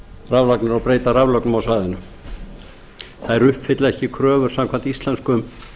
raflagnir og breyta raflögnum á svæðinu þær uppfylla ekki kröfur samkvæmt íslenskum